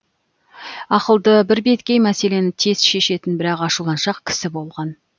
ақылды бірбеткей мәселені тез шешетін бірақ ашуланшақ кісі болған